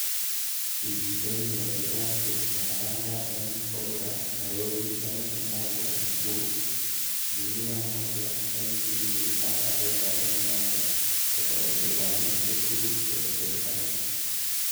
Kimiten Netitab Tunapanda en Cobra, Nairobi, Lanet umoja Nakuru, Dunia Moja en Kilifi ak Ahera en Nyanza, kotoreti kompunisiek tugul chebo serkalit.